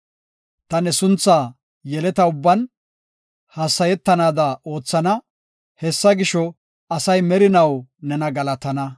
Ta ne sunthaa yeleta ubban, hassayetanaada oothana. Hessa gisho, asay merinaw nena galatana.